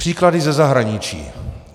Příklady ze zahraničí.